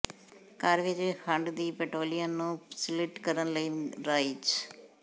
ਘਰ ਵਿਚ ਖੰਡ ਦੀ ਪੈਂਟੈਲਿਉਨ ਨੂੰ ਸਿਲਟ ਕਰਨ ਲਈ ਰਾਈਜ਼